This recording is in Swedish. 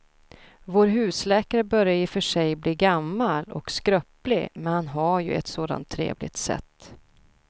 Vår husläkare börjar i och för sig bli gammal och skröplig, men han har ju ett sådant trevligt sätt!